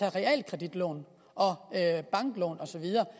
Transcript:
af realkreditlån og banklån og så videre